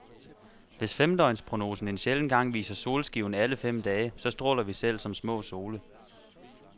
Hvis femdøgnsprognosen en sjælden gang viser solskiven alle fem dage, så stråler vi selv som små sole.